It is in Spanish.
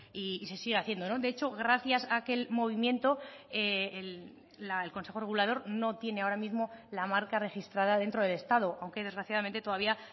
y se sigue haciendo de hecho gracias a aquel movimiento el consejo regulador no tiene ahora mismo la marca registrada dentro del estado aunque desgraciadamente todavía